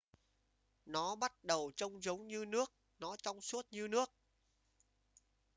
nó bắt đầu trông giống như nước nó trong suốt như nước